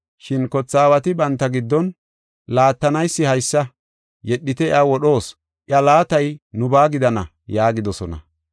“Shin kothe aawati banta giddon, ‘Laattanaysi haysa; yedhite iya wodhoos; iya laatay nubaa gidana!’ yaagidosona.